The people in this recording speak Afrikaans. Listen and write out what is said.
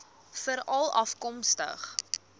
veralafkomstig